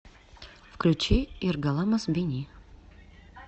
включи иргаламаз бени